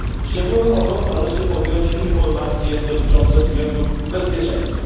Szczególną ochroną należy objąć informacje dotyczące względów bezpieczeństwa.